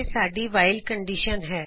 ਇਹ ਸਾਡੀ ਵਾਇਲ ਕੰਡੀਸ਼ਨ ਹੈ